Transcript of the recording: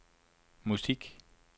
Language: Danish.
musik